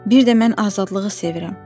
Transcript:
Bir də mən azadlığı sevirəm.